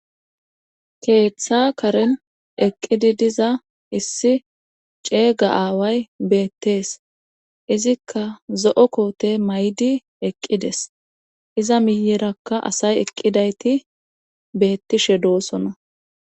keeththa karen eqqidi diza issi ceega aaway beettees izikka zo7o koote may7di eqqides iza miyerakka asay eqqidayti beettishe doosona